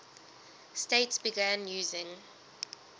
states began using